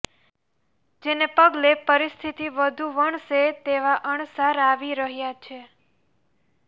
જેને પગલે પરિસ્થિતિ વધુ વણસે તેવા અણસાર આવી રહ્યા છે